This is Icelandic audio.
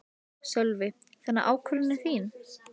Sölvi: Þannig að ákvörðunin er þín?